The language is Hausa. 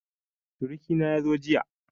Suruƙi na ya zo jiya